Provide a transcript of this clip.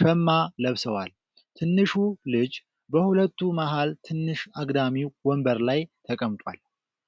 ሸማ ለብሰዋል። ትንሹ ልጅ በሁለቱ መሀል ትንሽ አግዳሚ ወንበር ላይ ተቀምጧል።